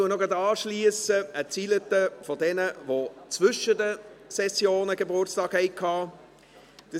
Ich schliesse an mit einigen Zeilen an diejenigen, die zwischen den Sessionen Geburtstag hatten.